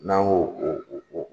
N'an ko o o